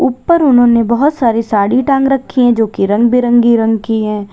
ऊपर उन्होंने बहुत सारी साड़ी टांग रखी है जोकि रंग बिरंगी रंग की है।